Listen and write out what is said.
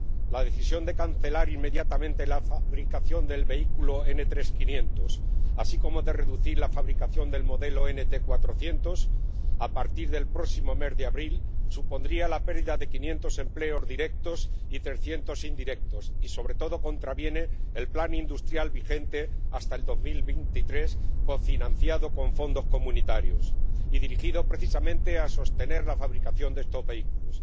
La decisión de cancelar inmediatamente la fabricación del vehículo NT500, así como de reducir la fabricación del modelo NT400, a partir del próximo mes de abril, supondría la pérdida de 500 empleos directos y 300 indirectos y, sobre todo, contraviene el plan industrial vigente hasta 2023, cofinanciado con fondos comunitarios y dirigido, precisamente, a sostener la fabricación de estos vehículos.